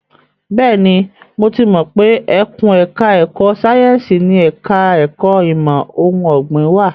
Bẹ́ẹ̀ni, mo ti mọ pé ẹkùn ẹ̀ka ẹ̀kó sáyẹ́ǹsì ni ẹ̀ka ẹ̀kó ìmọ̀ ohun ọ̀gbìn wà.